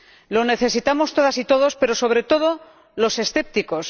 Lo necesitamos todas y todos, pero sobre todo los escépticos.